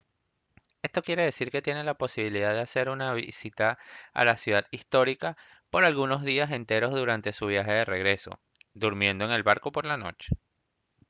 esto quiere decir que tiene la posibilidad de hacer una visita a la ciudad histórica por algunos días enteros durante su viaje de regreso durmiendo en el barco por la noche